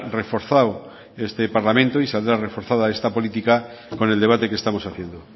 reforzado este parlamento y saldrá reforzada esta política con el debate que estamos haciendo